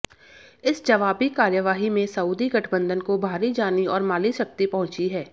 इस जवाबी कार्यवाही में सऊदी गठबंधन को भारी जानी और माली क्षति पहुंची है